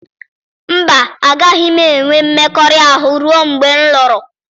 Mba, agaghị m enwe mmekọahụ ruo mgbe m lụrụ.